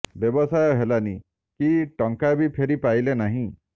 ବ୍ୟବସାୟ ହେଲାନି କି ଟଙ୍କା ବି ଫେରି ପାଇଲେ ନାହିଁ